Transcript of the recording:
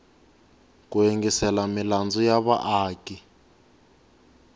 ku yingisela milandzu ya vaaki